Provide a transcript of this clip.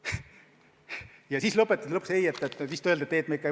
Ja siis lõpetati asi, öeldes vist, et ei, me ikka ei võta menetlusse.